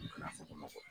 U kana fo kɔngɔ kɔ